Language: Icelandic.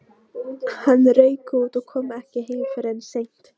Hann rauk út og kom ekki heim fyrr en seint.